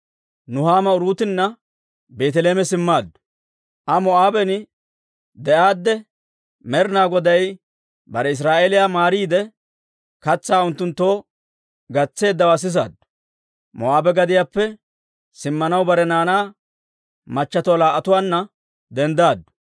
Aa Moo'aaben de'aadde, Med'inaa Goday bare asaa Israa'eeliyaa maariide, katsaa unttunttoo gatseeddawaa sisaaddu. Moo'aabe gadiyaappe simmanaw bare naanaa machatuwaa laa"atuwaanna denddaddu;